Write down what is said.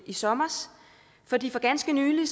i sommer fordi for ganske nylig